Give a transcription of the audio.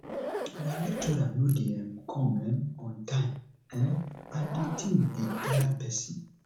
our lecturer no dey come um on time um and the thing dey tire person